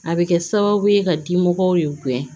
A bɛ kɛ sababu ye ka dimɔgɔw de gɛn